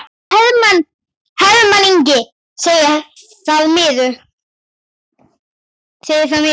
Hermann Ingi segir það miður.